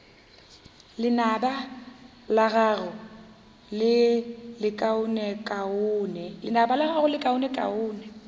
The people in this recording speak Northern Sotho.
lenaba la gago le lekaonekaone